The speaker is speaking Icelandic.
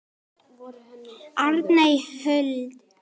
Arney Huld.